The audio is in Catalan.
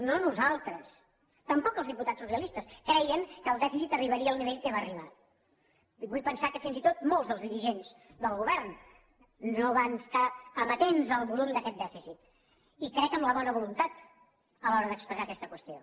no nosaltres tampoc els diputats socialistes creien que el dèficit arribaria al nivell a què va arribar vull pensar que fins i tot molts dels dirigents del govern no van estar amatents al volum d’aquest dèficit i crec en la bona voluntat a l’hora d’expressar aquesta qüestió